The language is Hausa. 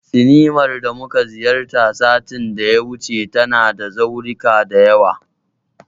Sinimar da muka ziyarta satin da ya wuce, tana da zaurika da yawa.